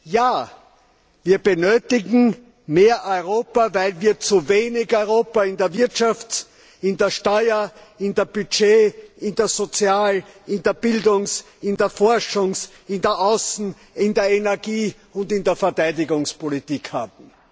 Ja, wir benötigen mehr Europa, weil wir zuwenig Europa in der Wirtschafts in der Steuer in der Budget in der Sozial in der Bildungs in der Forschungs in der Außen in der Energie und in der Verteidigungspolitik haben.